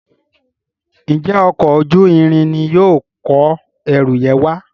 njé Ọkọ̀ ojú-irin ní yóò kọ ẹrù yen wá?